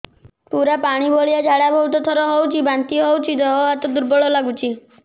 ପୁରା ପାଣି ଭଳିଆ ଝାଡା ବହୁତ ଥର ହଉଛି ବାନ୍ତି ହଉଚି ଦେହ ହାତ ଦୁର୍ବଳ ଲାଗୁଚି